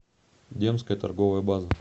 демская торговая база